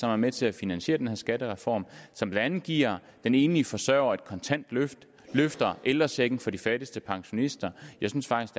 er med til at finansiere den her skattereform som blandt andet giver den enlige forsørger et kontant løft løfter ældrechecken for de fattigste pensionister jeg synes faktisk